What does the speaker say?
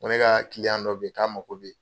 Ko ne ka dɔ be yen k'a mako be